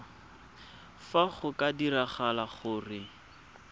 fa go ka diragala gore